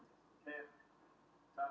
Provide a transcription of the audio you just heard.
Guðmundur Reynir Gunnarsson